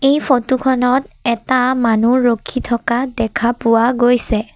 এই ফটো খনত এটা মানুহ ৰখি থকা দেখা পোৱা গৈছে।